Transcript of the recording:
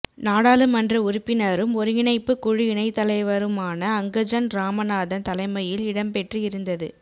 நாடாளுமன்ற உறுப்பினரும் ஒருங்கிணைப்பு குழு இணைத்தலைவருமான அங்கஜன் இராமநாதன் தலைமையில் இடம்பெற்று இருந்தது